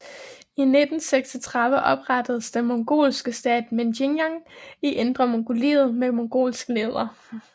I 1936 oprettedes den mongolske stat Mengjiang i Indre Mongoliet med mongolsk leder